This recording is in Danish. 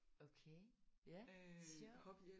Okay ja sjovt